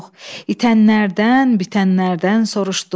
İtənlərdən, bitənlərdən soruşduq.